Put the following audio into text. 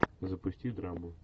запусти драму